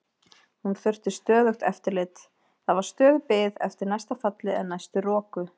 Hún þurfti stöðugt eftirlit, það var stöðug bið eftir næsta falli eða næstu roku.